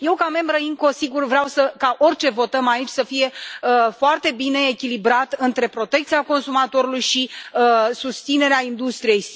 Eu, ca membră IMCO, sigur, vreau ca orice votăm aici să fie foarte bine echilibrat între protecția consumatorului și susținerea industriei.